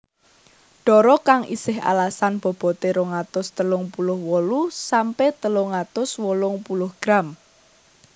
Dara kang isih alasan bobote rong atus telung puluh wolu sampe telung atus wolung puluh gram